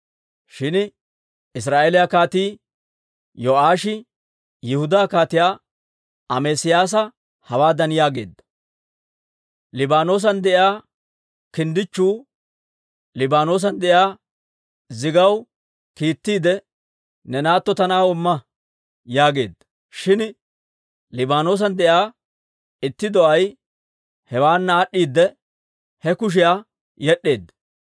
Shin israa'eeliyaa Kaatii Yo'aashi Yihudaa Kaatiyaa Amesiyaasa hawaadan yaageedda; «Liibaanoosan de'iyaa kinddichchu Liibaanoosan de'iyaa zigaw kiittiide, ‹Ne naatto ta na'aw imma› yaageedda. Shin Liibaanoosan de'iyaa itti do'ay hewaana aad'd'iide, he kashiyaa yed'd'eedda.